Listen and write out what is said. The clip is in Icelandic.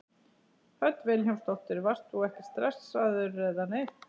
Hödd Vilhjálmsdóttir: Varst þú ekkert stressaður eða neitt?